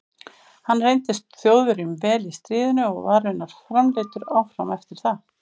Hann reyndist Þjóðverjum vel í stríðinu og var raunar framleiddur áfram eftir það.